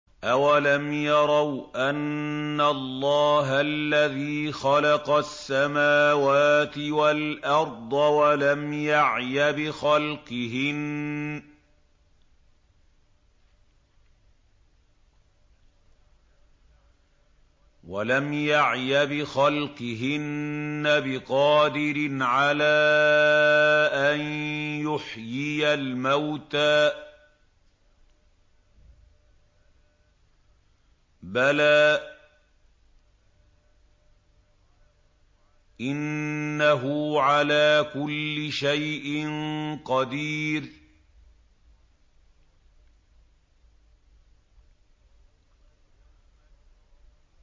أَوَلَمْ يَرَوْا أَنَّ اللَّهَ الَّذِي خَلَقَ السَّمَاوَاتِ وَالْأَرْضَ وَلَمْ يَعْيَ بِخَلْقِهِنَّ بِقَادِرٍ عَلَىٰ أَن يُحْيِيَ الْمَوْتَىٰ ۚ بَلَىٰ إِنَّهُ عَلَىٰ كُلِّ شَيْءٍ قَدِيرٌ